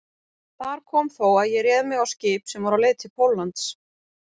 Þar kom þó að ég réð mig á skip sem var á leið til Póllands.